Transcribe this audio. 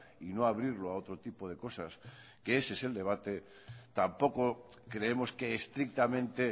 y no abrirlo a otro tipo de cosas que ese es el debate tampoco creemos que estrictamente